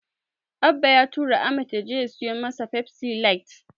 Abba ya tura Ahmad ya je ya siyo masa Pepsi light.